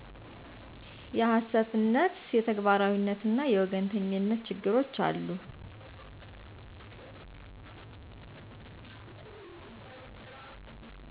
የሀሰትነት; የተግባራዉይነትና የወገኝተኝነት ችግሮች አሉ።